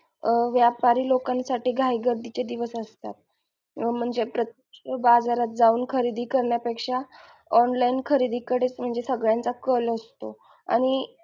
अं व्यापारी लोकांसाठी घाई गर्दीचे दिवस असतात अं म्हणजे प्रत्य बाजारात जाऊन खरेदी करण्या पेक्षा online खरेदी कडेच म्हणजे सगळ्यांचा कल असतो आणि,